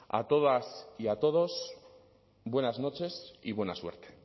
a todas y a todos buenas noches y buena suerte